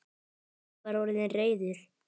Kobbi var orðinn reiður.